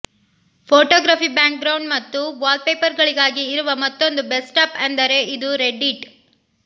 photography background ಮತ್ತು wallpaper ಗಳಿಗಾಗಿ ಇರುವ ಮತ್ತೊಂದು ಬೆಸ್ಟ್ ಆಪ್ ಅಂದರೆ ಅದು ರೆಡ್ ಇಟ್